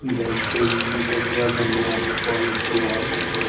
Blackberry utopia জান্নাত Kwality Walls.